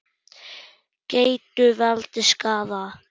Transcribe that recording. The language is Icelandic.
Gætu valdið skaða.